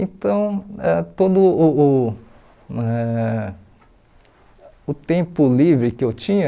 Então, ãh todo uh uh eh o tempo livre que eu tinha